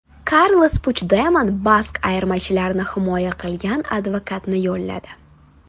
Karles Puchdemon bask ayirmachilarini himoya qilgan advokatni yolladi.